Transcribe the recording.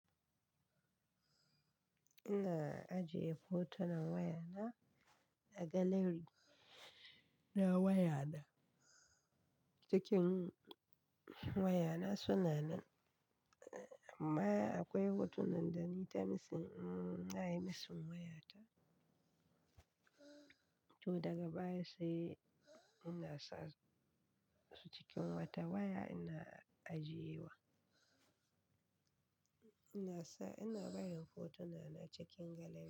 Ina ajiye hotunan wayana a gallery. Na wayana cikin wayana suna nan. Amma akwai hotunan da na yi ta missing, na yi missing wayata. To daga baya sai innasa mu cikin wata waya ina ajiyewa. Ina sa, ina barin hotuna na cikin gallery.